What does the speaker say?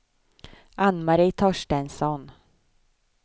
Ann-Marie Torstensson